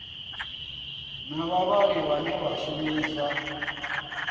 na vhavhali vhane vha shumisa